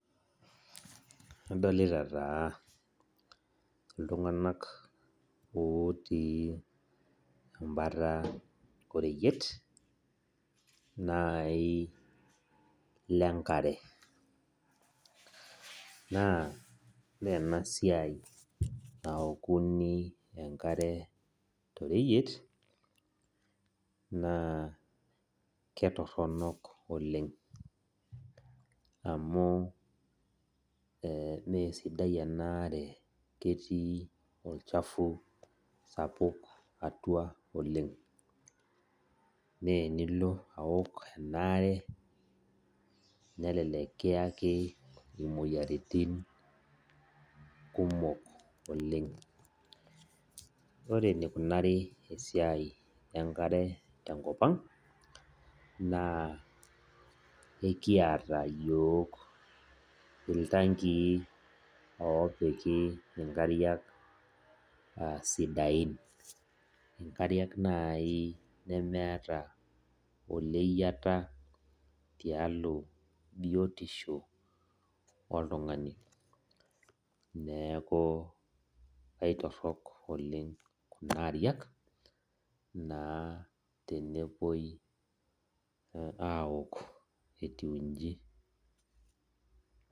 Adolita taa ltunganak otii embata oreyiet nai lenkare na menasia naokuni enkare toreyiet na ketoronok olenga amu mesidai enaare ketii olchafu sapuk oleng menilo aok emaare nelelek kiyaki moyiaritin kumok oleng ore enikunari esiai enkare tenkop aang na ekiata yiok ltangii opiki nkariak aasidain nkariak nai nemeeta oleyiata tiatua biotisho oltungani neaku aitorok oleng kuna ariak tenepuoi aok etiu nji.